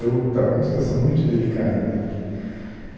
Eu estava em uma situação muito delicada né